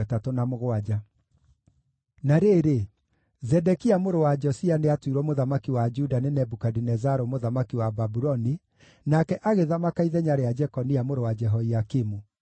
Na rĩrĩ, Zedekia mũrũ wa Josia nĩatuirwo mũthamaki wa Juda nĩ Nebukadinezaru mũthamaki wa Babuloni, nake agĩthamaka ithenya rĩa Jekonia mũrũ wa Jehoiakimu.